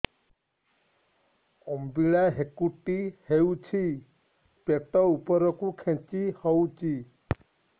ଅମ୍ବିଳା ହେକୁଟୀ ହେଉଛି ପେଟ ଉପରକୁ ଖେଞ୍ଚି ହଉଚି